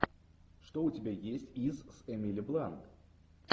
что у тебя есть из с эмили блант